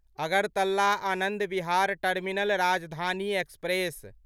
Agartala Anand Vihar terminal Rajdhani express